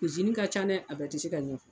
Izini ka can dɛ a bɛ tɛ se ka ɲɛ.